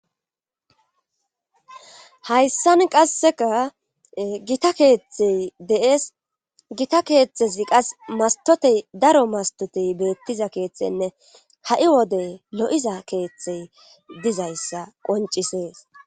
hayssan qasseka gita keeththey de7es gita keeththezi qas mastotey daro mastotey beettiza keeththenne ha7i wode lo7iza keeththey dizayssa qoncisees